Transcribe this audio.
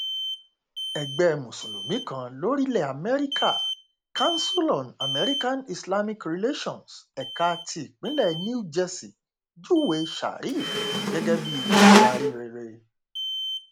ẹgbẹ mùsùlùmí kan lórílẹ amẹríkà council on americanislamic relations ẹka tipinlẹ new jersey júwe sharif gẹgẹ bíi adarí rere